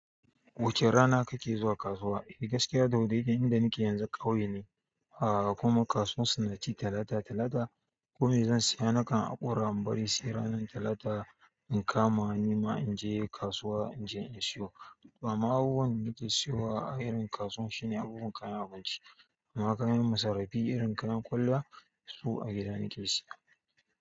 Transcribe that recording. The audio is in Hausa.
Wace rana kake zuwa kasuwa? Eh gaskiya da daidai, inda nake yanzu ƙauye ne. Kuma kasuwan su na ci talata-talata. Kome zan siya nakan haƙura in bari sai ranan talata in kama nima in je kasuwa in je in siyo. Amma abubuwan da nake siyowa a irin kasuwan shine abubuwan kayan abinci. Amma kayan masarrafi irin kayan kwallaya su a gida nake siya.